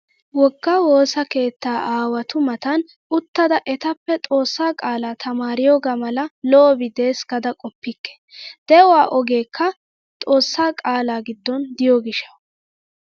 Wogga woosa keetta aawatu matan uttada etappe xoossa qaalaa tamaariyogaa mala lo"bi des gaada qoppikke. De"uwaa ogeekka xoossaa qaalaa giddon diyo gishshawu.